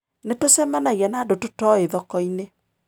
Nĩ tũcemanagia na andũ tũtoĩ thoko-inĩ.